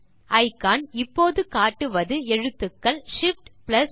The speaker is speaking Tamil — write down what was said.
இக்கான் இப்போது காட்டுவது எழுத்துக்கள் ShiftA